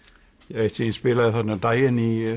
eitt sem ég spilaði þarna um daginn í